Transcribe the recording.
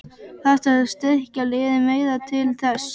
Þarftu að styrkja liðið meira til þess?